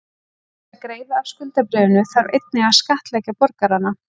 Til þess að greiða af skuldabréfinu þarf einnig að skattleggja borgarana.